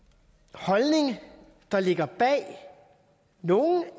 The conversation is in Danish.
holdning der ligger bag nogle